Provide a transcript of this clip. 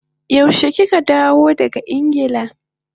Yaushe kika dawo daga Ingila?